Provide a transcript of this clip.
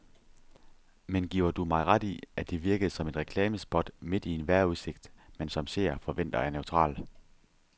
Men giver du mig ret i, at det virkede som et reklamespot midt i en vejrudsigt, man som seer forventer er neutral.